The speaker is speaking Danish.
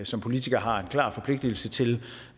som politikere har en klar forpligtigelse til